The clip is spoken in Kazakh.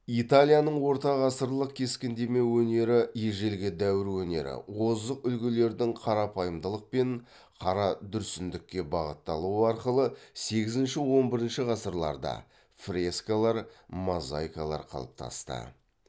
италияның ортағасырлық кескіндеме өнері ежелгі дәуір өнері озық үлгілердің қарапайымдылық пен қарадүрсіндікке бағытталуы арқылы сегізінші он бірінші ғасырларда қалыптасты